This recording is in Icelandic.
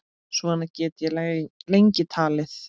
Svona get ég lengi talið.